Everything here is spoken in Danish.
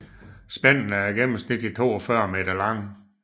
Spændene er gennemsnitligt 42 meter lange